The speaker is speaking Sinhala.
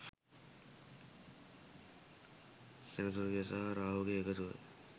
සෙනසුරුගේ සහ රාහුගේ එකතුව